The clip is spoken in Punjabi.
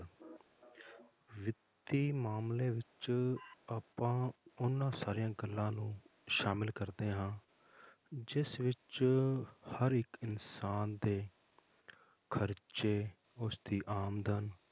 ਵਿੱਤੀ ਮਾਮਲੇ ਵਿੱਚ ਆਪਾਂ ਉਹਨਾਂ ਸਾਰੀਆਂ ਗੱਲਾਂ ਨੂੰ ਸ਼ਾਮਿਲ ਕਰਦੇ ਹਾਂ ਜਿਸ ਵਿੱਚ ਹਰ ਇੱਕ ਇਨਸਾਨ ਦੇ ਖਰਚੇ ਉਸਦੀ ਆਮਦਨ